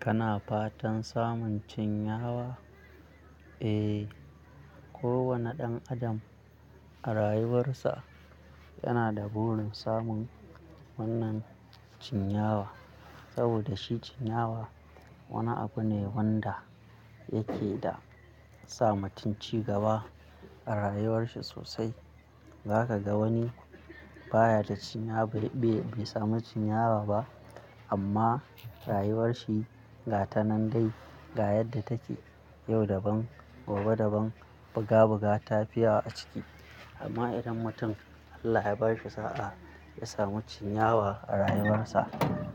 Kana fatan samun cinyawa? Eh, kowane ɗan adam a rayuwarsa yana da burin samun wannan cinyawa. Saboda shi cinyawa wani abu ne wanda, yake da sa mutum cigaba a rayuwar shi sosai. Zaka ga wani baya da cinyawa, bai samu cinyawa ba amma rayuwarshi ga tanan dai ga yadda take yau daban, gobe daban, buga buga, tafi yawa a ciki. Amma idan mutum Allah ya bashi sa'a, ya samu cinyawa a rayuwarsa,